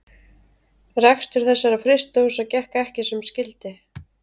Rekstur þessara frystihúsa gekk ekki sem skyldi.